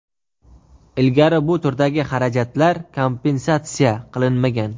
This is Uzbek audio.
Ilgari bu turdagi xarajatlar kompensatsiya qilinmagan.).